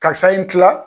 Karisa in tila